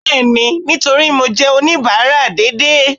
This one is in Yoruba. bẹẹni, nitorí mo jẹ onibara dééde